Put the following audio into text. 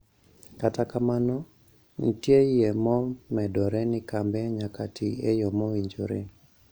Kata kamano, nitieyie mo medore nikambe nyaka tii e yo mowinjore